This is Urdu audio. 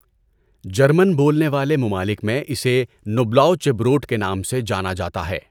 جرمن بولنے والے ممالک میں اسے نوبلاؤچبروٹ کے نام سے جانا جاتا ہے۔